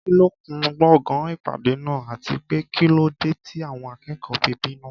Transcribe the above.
Kí ló kún gbọ̀ngàn ìpàdé náà, àti pé kí ló dé tí àwọn akẹ́kọ̀ọ́ fi bínú?